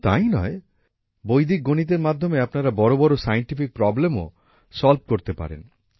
শুধু তাই নয় বৈদিক গণিতের মাধ্যমে আপনারা বিজ্ঞানের বড় বড় সমস্যার সমাধান করতে পারেন